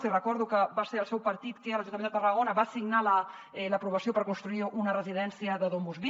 els hi recordo que va ser el seu partit que a l’ajuntament de tarragona va signar l’aprovació per construir una residència de domusvi